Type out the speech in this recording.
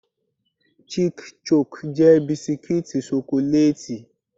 Chic-Choc jẹ́ bisikítì ṣokolátì.